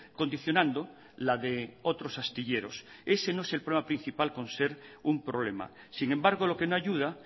condicionando la de otros astilleros ese no es el problema principal por ser un problema sin embargo lo que no ayuda